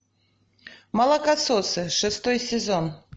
молокососы шестой сезон